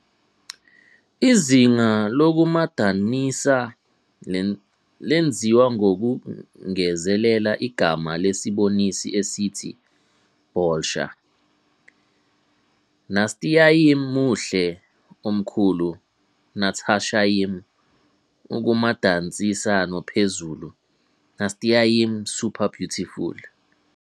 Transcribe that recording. izinga lokumadanisa lenziwa ngokungezelela igama lesibonisi esithi "bolsha"- "Nastyayim muhle, omkhulu Natashaym" - ukumadanisa nophezulu - "Nastyayim super-beautiful"